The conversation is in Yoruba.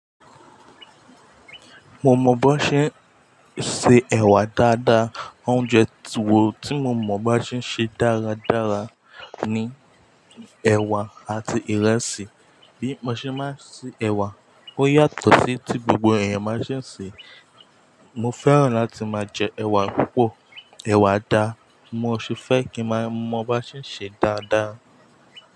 Mo mọ̀ bón ṣe ń se ẹ̀wà dáadáa. Oúnjẹ tí wò tí mo mọ̀ bá ṣe ń ṣe dáradára ni ẹ̀wà àti ìrẹsì. Bí mo ṣe máa ń ṣe ẹ̀wà ó yàtọ̀ sí tí gbogbo ẹ̀yàn máa ń ṣe. Mo fẹ́ràn láti máa jẹ ẹ̀wà púpọ̀. Ẹ̀wà dáa, mo sì fẹ́ kí ma máa bá ṣe ń ṣe dáadáa.